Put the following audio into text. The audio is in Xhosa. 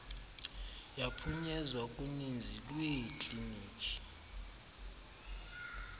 yaphunyezwa kuninzi lweeklinikhi